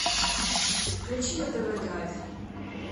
включи на тв драйв